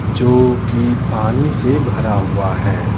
जो कि पानी से भरा हुआ है।